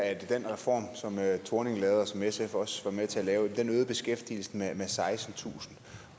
at den reform som helle thorning schmidt lavede og som sf også var med til at lave øgede beskæftigelsen med sekstentusind